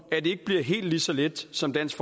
at det ikke bliver helt så let som dansk